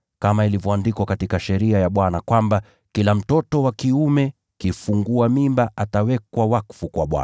(kama ilivyoandikwa katika Sheria ya Bwana, kwamba, “Kila mtoto wa kiume kifungua mimba atawekwa wakfu kwa Bwana”),